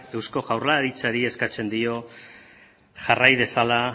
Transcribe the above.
eusko jaurlaritzari eskatzen dio jarrai dezala